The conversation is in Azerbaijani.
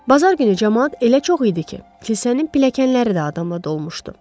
Bazar günü camaat elə çox idi ki, kilsənin pilləkənləri də adamla dolmuşdu.